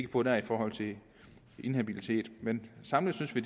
på der i forhold til inhabilitet man samlet synes vi